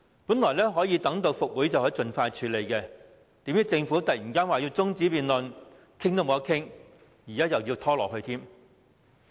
本以為復會後《條例草案》可獲盡快處理，殊不知政府忽然要求休會待續，連辯論也不能，又要繼續拖延。